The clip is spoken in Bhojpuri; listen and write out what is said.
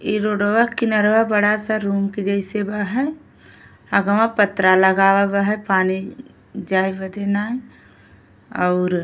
इ रोडवा किनरवा बड़ा सा रूम के जइसे बा है। अगवां पत्रा लगावा बा है पानी जाय बदे नाय् अउर --